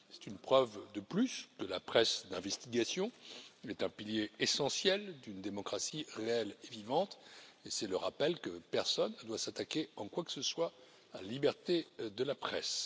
C'est une preuve de plus que la presse d'investigation est un pilier essentiel d'une démocratie réelle et vivante et c'est le rappel que personne ne doit s'attaquer, en quoi que ce soit, à la liberté de la presse.